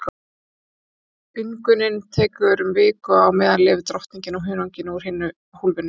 Útungunin tekur um viku og á meðan lifir drottningin á hunanginu úr hinu hólfinu.